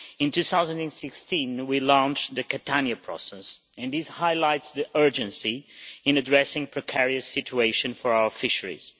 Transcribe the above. In 2016 we launched the Catania Process and this highlights the urgency in addressing precarious situations for our fisheries.